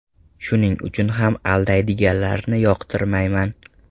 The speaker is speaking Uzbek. Shuning uchun ham aldaydiganlarni yoqtirmayman.